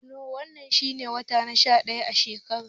Nowanba shi ne wata na sha ɗaya a shekara.